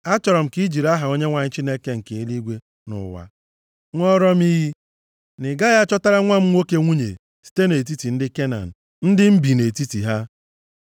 Achọrọ m ka i jiri aha Onyenwe anyị Chineke nke eluigwe na ụwa, ṅụọra m iyi, na ị gaghị achọtara nwa m nwoke nwunye site nʼetiti ndị Kenan, ndị m bi nʼetiti ha.